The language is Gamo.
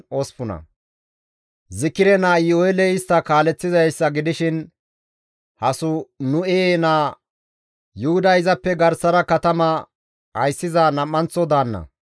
Zikire naa Iyu7eeley istta kaaleththizayssa gidishin Hasanu7e naa Yuhuday izappe garsara katama ayssiza nam7anththo daanna.